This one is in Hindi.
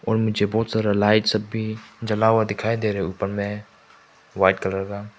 और मुझे बहुत सारा लाइट्स सब भी जला हुआ दिखाई दे रहा ऊपर में वाइट कलर का।